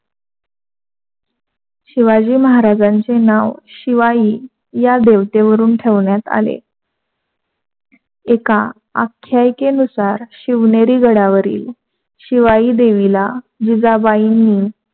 शिवाजी महाराजांचे नाव शिवाई या देवतेवरून ठेवण्यात आले. एका आख्यायिकेनुसार शिवनेरी गडावरील शिवाई देवीला जीजाबाईनी